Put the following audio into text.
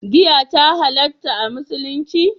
Giya ta halatta a musulunci?